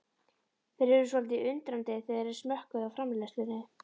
Þeir urðu svolítið undrandi þegar þeir smökkuðu á framleiðslunni.